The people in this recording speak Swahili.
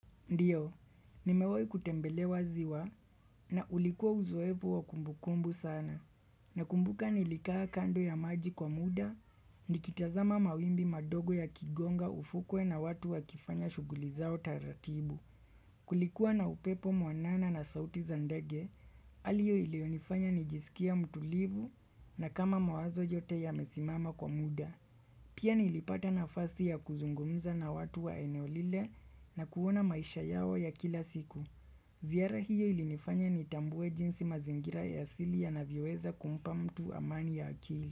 Ndio, nimewai kutembelewa ziwa na ulikuwa uzoevu wa kumbukumbu sana. Nakumbuka nilikaa kando ya maji kwa muda, nikitazama mawimbi madogo ya kigonga ufukwe na watu wa kifanya shuguli zao taratibu. Kulikuwa na upepo mwanana na sauti zandage, aliyo ilionifanya nijisikia mtulivu na kama mawazo jote yamesimama kwa muda. Pia nilipata nafasi ya kuzungumza na watu wa eneo lile na kuona maisha yao ya kila siku. Zihara hiyo ilinifanya ni tambue jinsi mazingira ya asili yanavyoweza kumpa mtu amani ya akili.